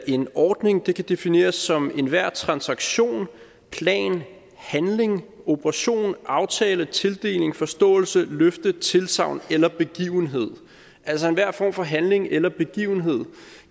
en ordning kan defineres som enhver transaktion plan handling operation aftale tildeling forståelse løfte tilsagn eller begivenhed altså enhver form for handling eller begivenhed